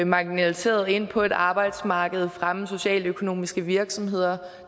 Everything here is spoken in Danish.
marginaliserede ind på et arbejdsmarked at fremme socialøkonomiske virksomheder